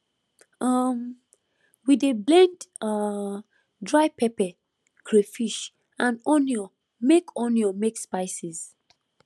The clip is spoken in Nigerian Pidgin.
um we dey blend um dry pepper crayfish and onion make onion make spices